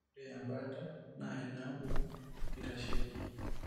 Ore embaata naa inaapuku naitasheiki.